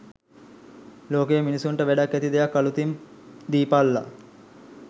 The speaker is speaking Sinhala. ලෝකෙ මිනිස්සුන්ට වැඩක් ඇති දෙයක් අළුතින් දීපල්ලා